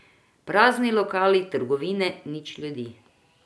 Prazni lokali, trgovine, nič ljudi.